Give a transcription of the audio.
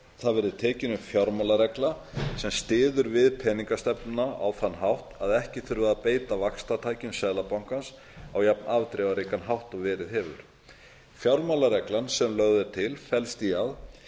að tekin verði upp fjármálaregla sem styður við peninga mála stefnuna á þann hátt að ekki þurfi að beita vaxtatækjum seðlabankans á jafn afdrifaríkan hátt og verið hefur fjármálareglan sem lögð er til felst í því